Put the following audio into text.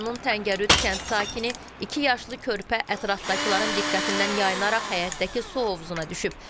Rayonun Təngərüd kənd sakini iki yaşlı körpə ətrafdakıların diqqətindən yaynaraq həyətdəki su hovuzuna düşüb.